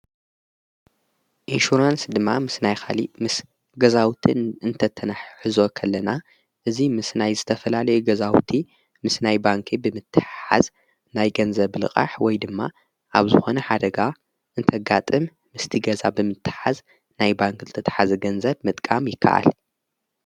ኢንሹራንስ ድማ ምስ ናይኻሊ ምስ ገዛውትን እንተተናሕዝወኸለና እዙይ ምስ ናይ ዝተፈላለ ገዛውቲ ምስ ናይ ባንክ ብምተሓዝ ናይ ገንዘብልቓሕ ወይ ድማ ኣብ ዝኾነ ሓደጋ እንተጋጥም ምስቲ ገዛ ብምትሓዝ ናይ ባንክ እልተተሓዚ ገንዘብ ምጥቃም ይከዓል።